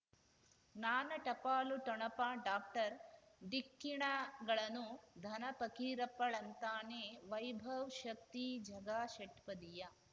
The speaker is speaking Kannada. ಜ್ಞಾನ ಟಪಾಲು ಠೊಣಪ ಡಾಕ್ಟರ್ ಢಿಕ್ಕಿ ಣಗಳನು ಧನ ಫಕೀರಪ್ಪ ಳಂತಾನೆ ವೈಭವ್ ಶಕ್ತಿ ಝಗಾ ಷಟ್ಪದಿಯ